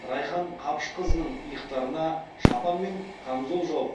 райхан қапышқызының иықтарына шапан мен камзол жауып